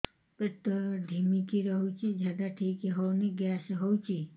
ପେଟ ଢିମିକି ରହୁଛି ଝାଡା ଠିକ୍ ହଉନି ଗ୍ୟାସ ହଉଚି